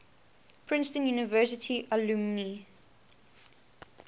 princeton university alumni